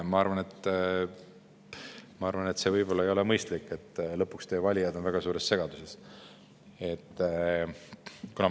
Ma arvan, et see võib-olla ei ole mõistlik, muidu on teie valijad lõpuks väga suures segaduses.